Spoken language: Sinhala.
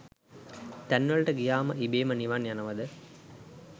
තැන් වලට ගියාම ඉබේම නිවන් යනවද?